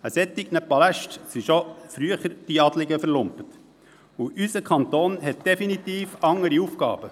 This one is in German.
Wegen solcher Paläste sind schon früher die Adligen verlumpt, und unser Kanton hat definitiv andere Aufgaben.